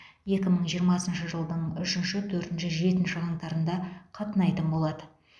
екі мың жиырмасыншы жылдың үшінші төртінші жетінші қаңтарында қатынайтын болады